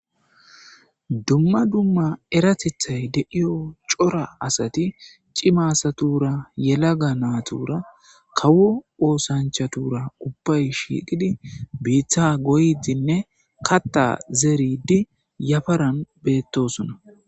Dumma dumma eratethay deiyo cora asati cimasatura yelaga naatuura kawu oosanchatura ubbay shiiqidi biitha goydinne katta zeridi yafaran beettosuna.